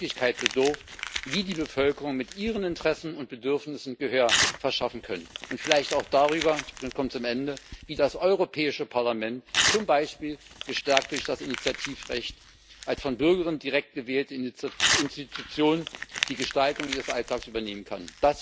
über die Möglichkeit, wie sich die Bevölkerungen mit ihren Interessen und Bedürfnissen Gehör verschaffen können, und vielleicht auch darüber, wie das Europäische Parlament zum Beispiel gestärkt durch das Initiativrecht als von Bürgerinnen und Bürgern direkt gewählte Institution die Gestaltung ihres Alltags übernehmen kann.